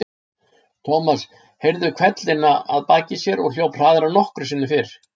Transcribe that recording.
Thomas heyrði hvellina að baki sér og hljóp hraðar en nokkru sinni fyrr.